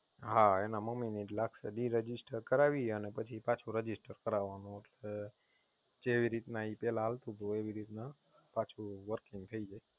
હા એના મમ્મી ની જ લાગશે Disregistration કરાવી અને પછી પાછું Register કરાવવાનું એટલે જેવી રીતે પેલા એ ચાલતું હતું એ રીતે પાછું Working થઈ જાય